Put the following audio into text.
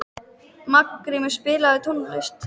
Margrímur, spilaðu tónlist.